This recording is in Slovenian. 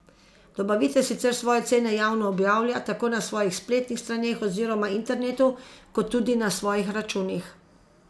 Dobavitelj sicer svoje cene javno objavlja tako na svojih spletnih straneh oziroma internetu kot tudi na svojih računih.